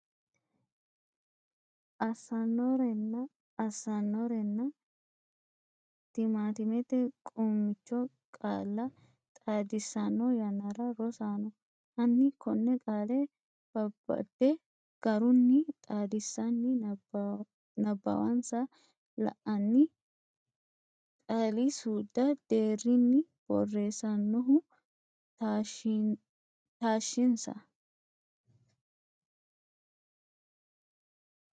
assannorenna assannorenna tiimatimete quumicho qaalla xaadissanno yannara Rosaano, hanni konne qaale babbade garunni xaadissanni nabbawansa la’anni qaalisuudu deerrinni borreessannoehu taashshinsa.